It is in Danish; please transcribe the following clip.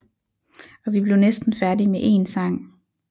Og vi blev næsten færdige med én sang